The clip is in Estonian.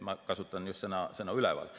Ma kasutan just sõna "üleval".